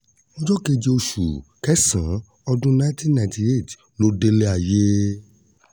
ọjọ́ keje oṣù kẹsàn-án ọdún nineteen ninety eight ló délẹ̀ ayé